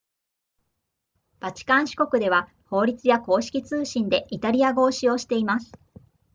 バチカン市国では法律や公式通信でイタリア語を使用しています